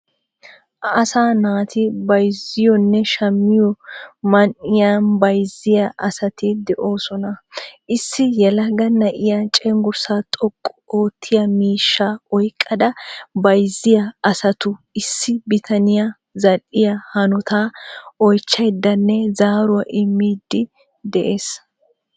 Asaa naati bayizziyonne shammiyo maanhiyan bayizziya asaati de^osoona. Issi yeelaga na^iya cenggurssa xooqqu oottiya miishsha oyiqada bayizziya asaatu issi bitaaniya za^alliya hanota oyichchiyadanne zaaruwa immidi de^ees.